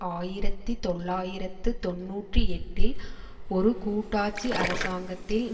ஆயிரத்தி தொள்ளாயிரத்து தொன்னூற்றி எட்டில் ஒரு கூட்டாட்சி அரசாங்கத்தில்